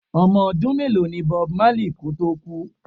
Ọmọ ọdún mélòó ní Bob marley kò tó kú?